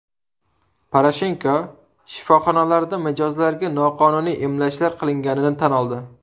Poroshenko shifoxonalarda mijozlarga noqonuniy emlashlar qilganini tan oldi.